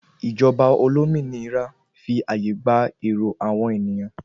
Ìjọba olómìnira fi àyè gba èrò àwọn ènìyàn